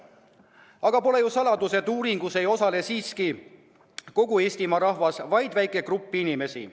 Samas pole saladus, et uuringutes ei osale siiski kogu Eestimaa rahvas, vaid väike grupp inimesi.